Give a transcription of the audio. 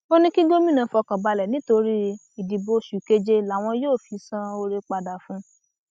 ó ní kí gómìnà fọkàn balẹ nítorí ìdìbò oṣù keje làwọn yóò fi san oore padà fún un